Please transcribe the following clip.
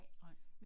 Nej